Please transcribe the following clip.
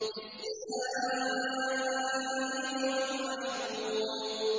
لِّلسَّائِلِ وَالْمَحْرُومِ